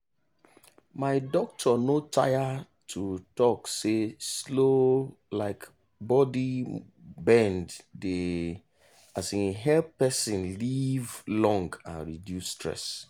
my doctor no tire to talk say slow um body bend dey um help person live long and reduce stress.